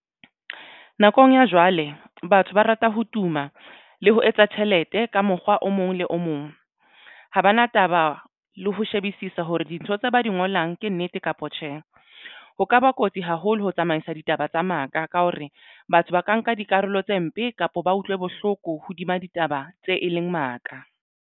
Nakong ya jwale batho ba rata ho tuma le ho etsa tjhelete ka mokgwa o mong le o mong. Ha bana taba le ho shebisisa hore dintho tse ba di ngolang ke nnete kapa tjhe. Ho kaba kotsi haholo ho tsamaisa ditaba tsa maka ka hore batho ba ka nka dikarolo tse mpe kapa ba utlwe bohloko hodima ditaba tse e leng maka.